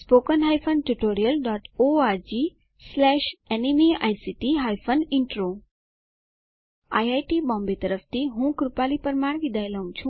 httpspoken tutorialorgNMEICT Intro IIT Bombay તરફથી ભાષાંતર કરનાર હું કૃપાલી પરમાર વિદાય લઉં છું